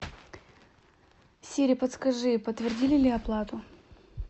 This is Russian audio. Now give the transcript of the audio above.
сири подскажи подтвердили ли оплату